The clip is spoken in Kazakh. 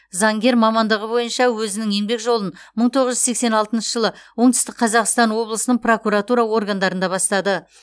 заңгер мамандығы бойынша өзінің еңбек жолын мың тоғыз жүз сексен алтыншы жылы оңтүстік қазақстан облысының прокуратура органдарында бастады